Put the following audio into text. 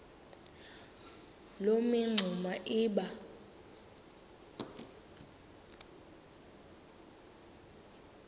loo mingxuma iba